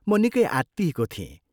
म निकै आत्तिएको थिएँ।